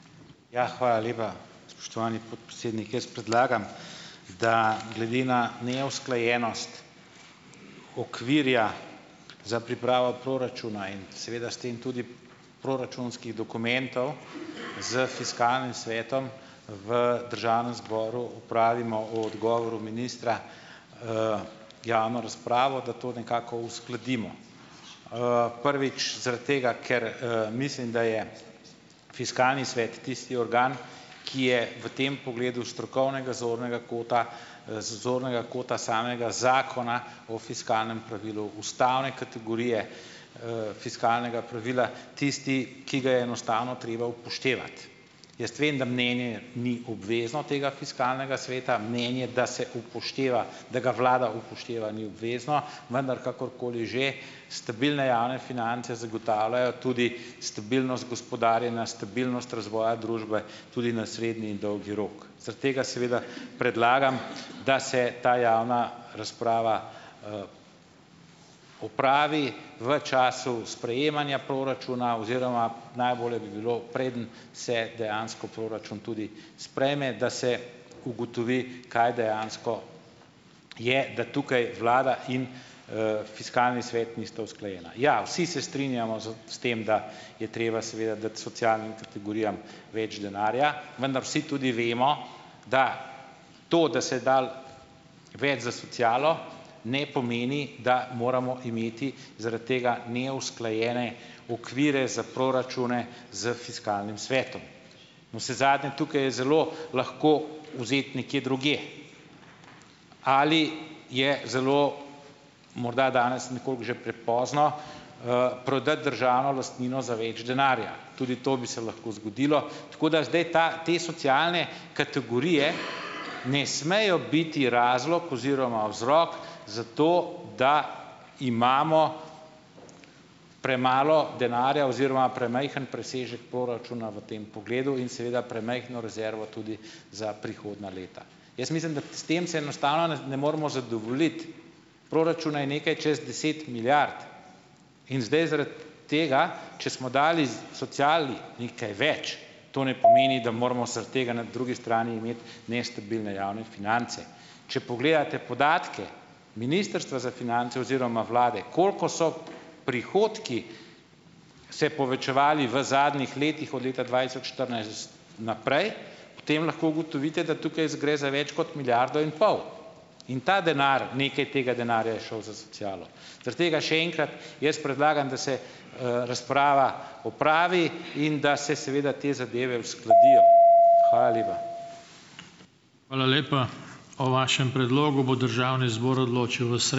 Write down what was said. Ja, hvala lepa, spoštovani podpredsednik! Jaz predlagam, da glede na neusklajenost okvirja za pripravo proračuna in seveda s tem tudi proračunskih dokumentov s fiskalnim svetom v državnem zboru opravimo o odgovoru ministra, javno razpravo, da to nekako uskladimo. Prvič, zaradi tega, ker, mislim, da je fiskalni svet tisti organ, ki je v tem pogledu s strokovnega zornega kota, zornega kota samega Zakona o fiskalnem pravilu ustavne kategorije, fiskalnega pravila, tisti, ki ga je enostavno treba upoštevati. Jaz vem, da mnenje ni obvezno, tega fiskalnega sveta, mnenje, da se upošteva, da ga vlada upošteva, ni obvezno, vendar kakorkoli že, stabilne javne finance zagotavljajo tudi stabilnost gospodarjenja, stabilnost razvoja družbe tudi na srednji in dolgi rok. Zaradi tega seveda predlagam, da se ta javna razprava, opravi v času sprejemanja proračuna oziroma najboljše bi bilo, preden se dejansko proračun tudi sprejme, da se ugotovi, kaj dejansko je, da tukaj vlada in, fiskalni svet nista usklajena. Ja, vsi se strinjamo s s tem, da je treba seveda dati socialnim kategorijam več denarja, vendar vsi tudi vemo, da to, da se je dalo več za socialo, ne pomeni, da moramo imeti zaradi tega neusklajene okvire za proračune s fiskalnim svetom. Navsezadnje, tukaj je zelo lahko vzeti nekje drugje. Ali je zelo, morda danes nekoliko že prepozno, prodati državno lastnino za več denarja? Tudi to bi se lahko zgodilo, tako da zdaj ta, te socialne kategorije ne smejo biti razlog oziroma vzrok za to, da imamo premalo denarja oziroma premajhen presežek poračuna v tem pogledu in seveda premajhno rezervo tudi za prihodnja leta. Jaz mislim, da s tem se enostavno nas ne moremo zadovoljiti. Proračuna je nekaj čez deset milijard in zdaj zaradi tega, če smo dali z sociali nekaj več, to ne pomeni, da moramo zaradi tega na drugi strani imeti nestabilne javne finance. Če pogledate podatke Ministrstva za finance oziroma vlade, koliko so prihodki se povečevali v zadnjih letih od leta dvajset tisoč štirinajst naprej, potem lahko ugotovite, da tukaj gre za več kot milijardo in pol in ta denar, nekaj tega denarja je šel za socialo. Zaradi tega še enkrat, jaz predlagam, da se razprava opravi in da se seveda te, zadeve uskladijo. Hvala lepa.